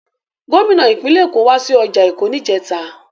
Gómìnà ìpínlẹ̀ Èkó wá sí ọjà Èkó níjẹta.